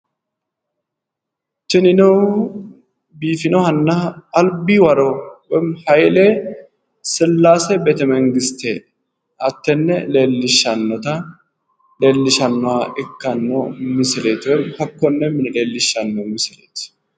Tinino biifinohanna albi waro woyiimmi hayiile sillaase beetemangiste hakkone leellishshannoha ikkanno misileeti